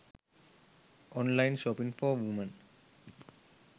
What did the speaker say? online shopping for women